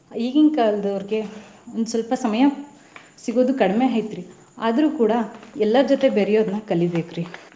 ಈಗಿನ ಕಾಲದವ್ರಿಗೆ ಒಂದ್ ಸ್ವಲ್ಪ ಸಮಯ ಸಿಗೋದು ಕಡಿಮೆ ಐತ್ರಿ ಆದ್ರೂ ಕೂಡಾ ಎಲ್ಲರ್ ಜೊತೆ ಬೆರೆಯೋದನ್ನ ಕಲಿಬೇಕ್ರಿ .